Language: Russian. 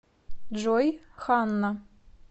джой ханна